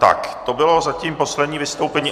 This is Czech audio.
Tak to bylo zatím poslední vystoupení.